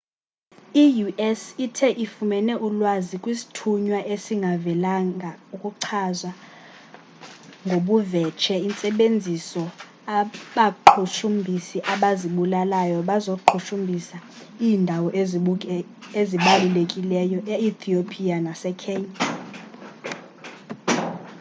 i-u.s ithe ifumene ulwazi kwisthunywa esingavelanga oluchaza ngobuvetshe intsebenziso abaqhushumbhisi abazibulalayo bazoqhushumbhisa iindawo ezibalulekileyo e-thiopiya nase-kenya